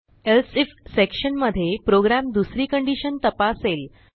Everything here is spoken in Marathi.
एल्से आयएफ सेक्शन मध्ये प्रोग्रॅम दुसरी कंडिशन तपासेल